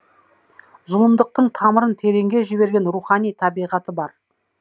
зұлымдықтың тамырын тереңге жіберген рухани табиғаты бар